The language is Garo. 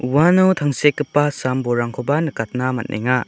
uano tangsekgipa sambolrangkoba nikatna man·enga.